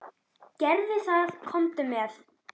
Gerðu það, komdu með.